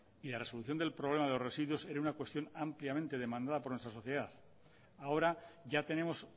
y la resolución del problema de los residuos era una cuestión ampliamente demandada por nuestra sociedad ahora ya tenemos